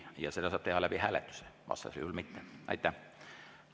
Ja seda saab teha hääletuse teel, muul viisil mitte.